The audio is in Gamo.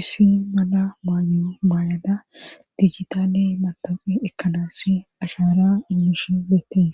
issi mada maayo baayada dijitaale matofi ekkadassi ashara inishe beettees.